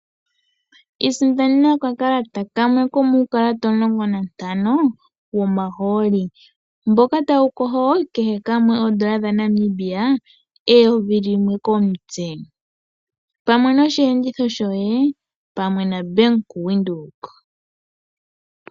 Isindanena okakalata kamwe komuukalata omulongo nantano womahooli, mboka wu na ongushu yoondola dhaNamibia eyovi limwe komutse.